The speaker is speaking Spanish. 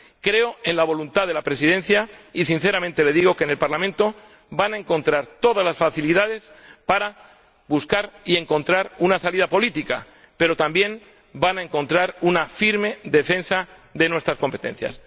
Creo en la voluntad de la Presidencia y sinceramente le digo que en el Parlamento van a encontrar todas las facilidades para buscar y encontrar una salida política, pero también van a encontrar una firme defensa de nuestras competencias.